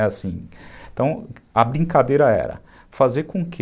Então, a brincadeira era fazer com que